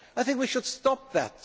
for what. I think we should